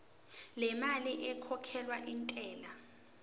lemali ekhokhelwa intela